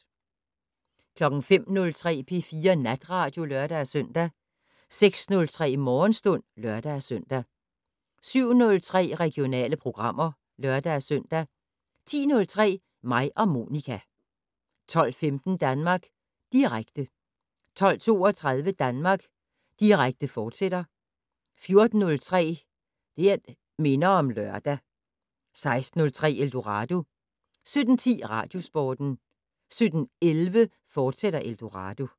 05:03: P4 Natradio (lør-søn) 06:03: Morgenstund (lør-søn) 07:03: Regionale programmer (lør-søn) 10:03: Mig og Monica 12:15: Danmark Direkte 12:32: Danmark Direkte, fortsat 14:03: Det' Minder om Lørdag 16:03: Eldorado 17:10: Radiosporten 17:11: Eldorado, fortsat